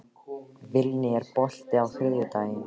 Vilný, er bolti á þriðjudaginn?